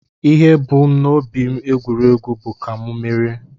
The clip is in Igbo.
Ihe m bu n'obi egwu egwuregwu bụ ka mụ merie